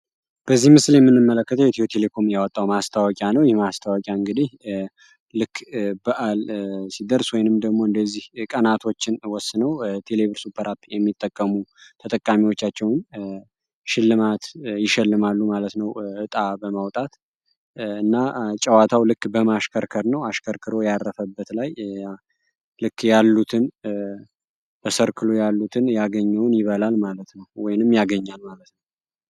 በዚህ ምስል የምንመለከተው ኢትዮ ቴሌኮም ያወጣውን ማስታወቂያ ነው። ይህ ማስታወቂያ እንግዲ ልክ በአል ሲደርስ ወይም ደግሞ እንዲዚህ ቀናቶችን ወስኖ ቴሌ ብር ሱፐር አፕ የሚጠቀሙ ተጠቃሚዎቻቸውን ሽልማት ይሸልማሉ ማለት ነው እጣ በማውጣት እና ጨዋታው እንዲሁ በማሽከርከር ነው። አሽከርክሮ ያረፈበት ላይ ልክ ያሉትን በሰርክሉ ያሉትን ያገኘውን ይበላል ማለት ነው፤ ወይም ያገኛል ማለት ነው።